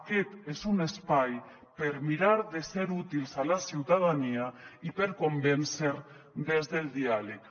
aquest és un espai per mirar de ser útils a la ciutadania i per convèncer des del diàleg